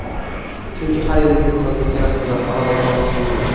Chunki har yili festivalga kelasizlar Qoraqalpog‘istonga.